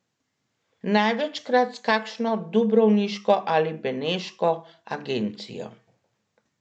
Največkrat s kakšno dubrovniško ali beneško agencijo.